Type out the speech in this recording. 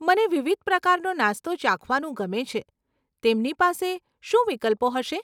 મને વિવિધ પ્રકારનો નાસ્તો ચાખવાનું ગમે છે, તેમની પાસે શું વિકલ્પો હશે?